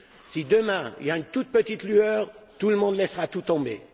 si demain il y a une petite lueur, tout le monde laissera tout tomber.